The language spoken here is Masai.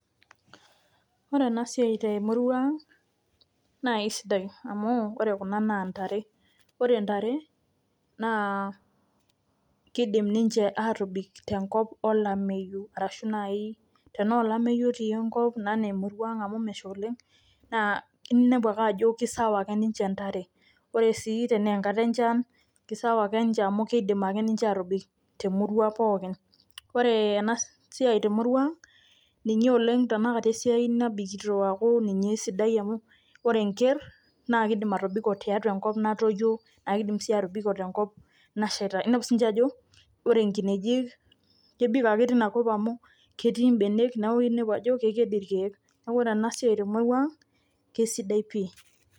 Ore ena siai te murua aang' nae sidai amu ore kuna naa ntare, ore ntare naa kiidim ninje aatobik tenkop olameyu arashu nai tenaa olameyu otii enkop naa enaa emurua aang' amu mesha oleng' naa inepu ake ajo kesawa ninje ntare. Ore sii tenee nkata e nchan kisawa ake nje amu kiidim ake aatobik te murua pookin. Ore ena siai te murua aang' ninye oleng' tenakata esiai nabikito aaku ninye esidai amu ore enker naake iidim atobiko tiatua enkop natoyio naake idim sii atobiko tenkop nasheita. Inepu siinje ajo ore nkinejik kebik ake tina kop amu ketii mbenek, neeku inepu ajo keked irkeek. Neeku ore ena siai te murua aang' kesidai pii.